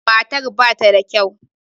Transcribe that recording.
Matar ba ta da kyau.